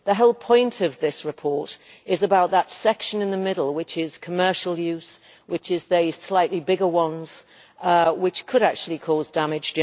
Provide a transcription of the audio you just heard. The whole point of this report is about that section in the middle, which is commercial use and the slightly bigger ones, which could actually cause damage.